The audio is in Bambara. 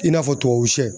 I n'a fɔ tubabu sɛ